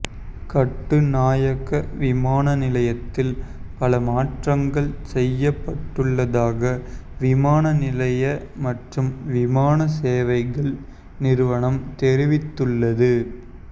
கட்டுநாயக்க விமான நிலையத்தில் பல மாற்றங்கள் செய்யப்பட்டுள்ளதாக விமான நிலைய மற்றும் விமான சேவைகள் நிறுவனம் தெரிவித்தள்ளது